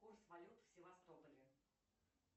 курс валют в севастополе